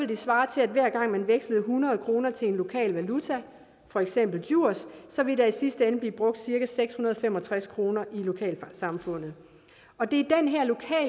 det svare til at hver gang man vekslede hundrede kroner til en lokal valuta for eksempel djurs så ville der i sidste ende blive brugt cirka seks hundrede og fem og tres kroner i lokalsamfundet og det